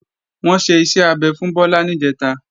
Wọ́n ṣe iṣẹ́ abẹ fún Bọ́lá níjẹ̀ta